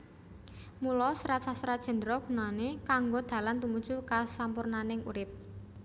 Mula Serat Sastra Jendra gunané kanggo dalan tumuju kasampurnaning urip